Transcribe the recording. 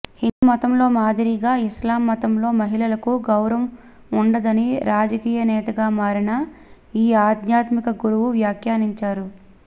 హిందూ మతంలో మాదిరిగా ఇస్లాం మతంలో మహిళలకు గౌరవం ఉండదని రాజకీయనేతగా మారిన ఈ ఆధ్యాత్మిక గురువు వ్యాఖ్యానించారు